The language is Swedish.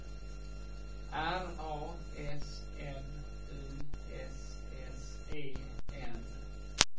R A S M U S S E N